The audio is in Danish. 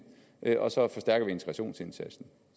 og så forstærker vi integrationsindsatsen